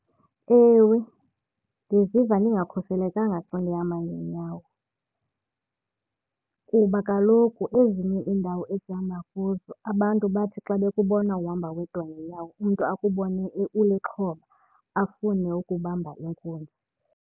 Ewe, ndiziva ndingakhuselekanga xa ndihamba ngeenyawo kuba kaloku ezinye iindawo esihamba kuzo abantu bathi xa bekubona uhamba wedwa ngeenyawo umntu akubone ulixhoba afune ukubamba inkunzi.